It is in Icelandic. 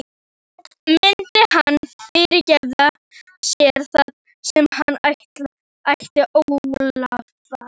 Myndi hann fyrirgefa sér það sem hann ætti ólifað?